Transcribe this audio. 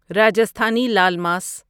Rajasthani laal ماس